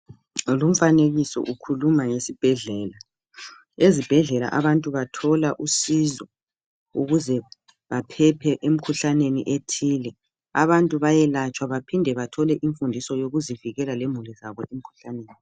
Lumfanekiso ukhuluma ngesibhedlela ,ezibhedlela abantu bathola usizo ukuze baphephe emkhuhlaneni ethile .Abantu bayelatshwa baphinde bathole imfundiso yokuzivikela lemuli zabo emkhuhlaneni.